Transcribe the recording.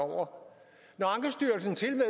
om